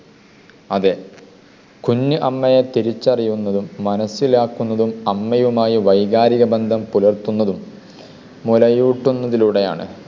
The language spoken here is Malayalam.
അതെ, കുഞ്ഞു അമ്മയെ തിരിച്ചറിയുന്നതും മനസ്സിലാക്കുന്നതും അമ്മയുമായി വൈകാരിക ബന്ധം പുലർത്തുന്നതും മുലയൂട്ടുന്നതിലൂടെയാണ്.